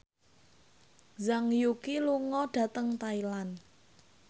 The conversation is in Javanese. Zhang Yuqi lunga dhateng Thailand